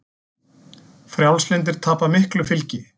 Frjálslyndir tapa miklu fylgi